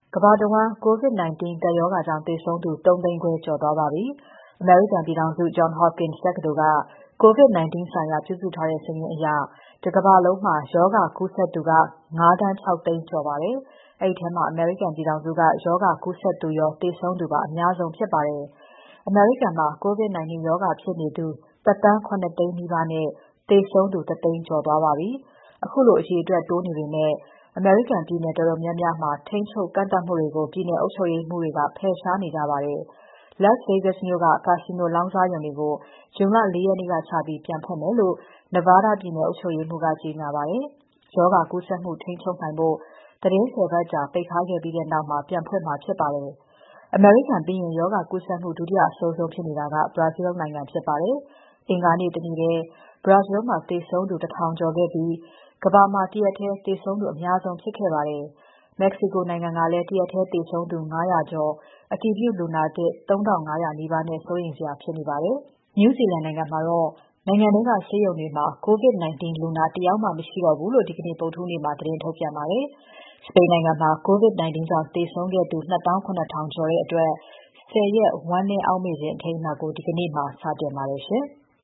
ကမ္ဘာတဝန်း COVID-19 ကပ်ရောဂါကြောင့် သေဆုံးသူ ၃၅၀,၀၀၀ ကျော် သွားပါပြီ။ အမေရိကန်ပြည်ထောင်စု Johns Hopkins တက္ကသိုလ်က COVID-19 ဆိုင်ရာ ပြုစုထားတဲ့ စာရင်းအရ တကမ္ဘာလုံးမှာ ရောဂါကူးစက်သူက ၅,၆၀၀,၀၀၀ ကျော်နေပါပြီ။ အဲဒီထဲမှာ အမေရိကန်ပြည်ထောင်စုက ကူးစက်သူရော၊ သေဆုံးသူပါ အများဆုံးဖြစ်ပါတယ်။ အမေရိကန်မှာ COVID-19 ရောဂါဖြစ်နေသူ ၁,၇၀၀,၀၀၀ နီးပါးနဲ့ သေဆုံးသူ ၁၀၀,၀၀၀ ကျော်သွားပါပြီ။ ခုလို အရေအတွက်တိုးနေပေမဲ့ ပြည်နယ်တော်တော်များများမှာ ထိန်းချုပ် ကန့်သတ်မှုတွေကို ပြည်နယ်အုပ်ချုပ်ရေးမှူးတွေက ဖယ်ရှားနေကြပါတယ်။ Las Vegas မြို့က ကာစီနိုလောင်းကစားရုံတွေကို ဇွန် ၄ ရက်နေ့ကစပြီး ပြန်ဖွင့်မယ်လို့ Nevada ပြည်နယ်အုပ်ချုပ်ရေးမှူးက ကြေညာပါတယ်။ ရောဂါကူးစက်မှု ထိန်းချုပ်နိုင်ဖို့ သီတင်း ၁၀ ပတ်ကြာ ပိတ်ထားခဲ့ပြီးနောက် ပြန်ဖွင့်မှာ ဖြစ်ပါတယ်။ အမေရိကန်ပြီးရင် ရောဂါကူးစက်မှု ဒုတိယအဆိုးဆုံးဖြစ်နေတာက Brazil နိုင်ငံဖြစ်ပါတယ်။ အင်္ဂါနေ့ တနေ့ထဲ Brazil မှာ သေဆုံးသူ ၁၀၀၀ ကျော်ခဲ့ပြီး ကမ္ဘာမှာ တရက်ထဲသေဆုံးသူ အများဆုံးဖြစ်ခဲ့ပါတယ်။ Mexico နိုင်ငံကလည်း တရက်ထဲ သေဆုံးသူ ၅၀၀ ကျော်၊ အတည်ပြုလူနာသစ် ၃,၅၀၀ နီးပါးနဲ့ စိုးရိမ်စရာဖြစ်နေပါတယ်။ New Zealand နိုင်ငံကတော့ နိုင်ငံထဲက ဆေးရုံတွေမှာ COVID-19 လူနာ တယောက်မှ မရှိတော့ဘူးလို့ ဒီနေ့ ဗုဒ္ဓဟူးနေ့မှာ သတင်းထုတ်ပြန်ပါတယ်။ စပိန်နိုင်ငံမှာ COVID-19 ကြောင့် သေဆုံးခဲ့သူ ၂၇,၀၀၀ ကျော်အတွက် ၁၀ ရက် ဝမ်းနည်းအောက်မေ့ခြင်းအထိမ်းအမှတ်ကို ဒီကနေ့မှာ စတင်ပါတယ်ရှင်။